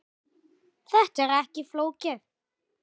Þetta er ekkert flókið